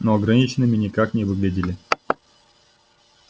но ограниченными никак не выглядели